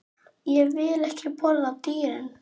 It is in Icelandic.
Ég vil ekki borða dýrin.